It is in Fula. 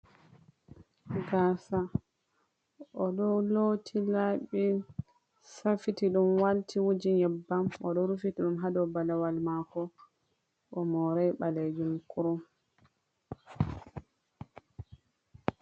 Gaasa o ɗo looti laɓi, safiti ɗum walti, wuji nyebbam, o ɗo rufiti ɗum haa do balawal maako, o morai ɓaleejum kurum.